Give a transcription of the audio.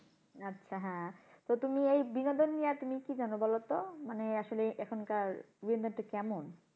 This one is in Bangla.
আচ্ছা হ্যাঁ তো তুমি এই বিনোদন নিয়া তুমি কি জানো বলো তো, মানে আসলে এখনকার কেমন?